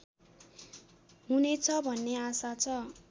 हुनेछ भन्ने आशा छ